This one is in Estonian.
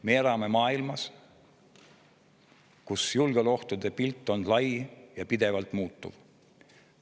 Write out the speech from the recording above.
Me elame maailmas, kus julgeolekuohtude pilt on lai ja pidevalt muutuv.